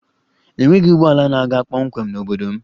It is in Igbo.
Enweghị ụgbọ ala na-aga kpọmkwem n'obodo m